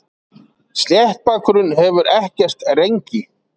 Sléttbakurinn hefur ekkert rengi.